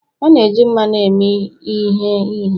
A na-eji mmanụ eme ehe ihe